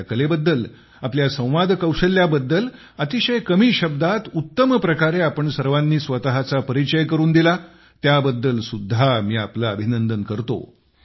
आपल्या कलेबद्दल आपल्या संवादकौशल्याबद्दल अतिशय कमी शब्दात उत्तम प्रकारे आपण सर्वांनी स्वतःचा परिचय करून दिला त्याबद्दल सुद्धा मी आपले अभिनंदन करतो